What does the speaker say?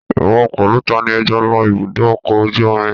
Ìwọ pẹ̀lú tani ẹ jọ lọ ibùdó ọkọ̀ ojú omi?